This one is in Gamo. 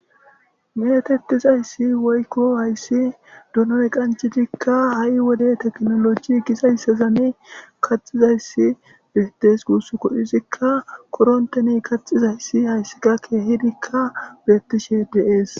Metetiizayssi woykko doonoy qancidika doonoy ha'i wode tekinoloje gizayssazani kaxizayssa bessees gusukko izika korontteppe kaxizayssi hayssi ke'hi ciyidikka de'ees